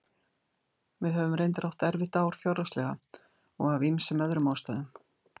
Við höfum reyndar átt erfitt ár fjárhagslega og af ýmsum öðrum ástæðum.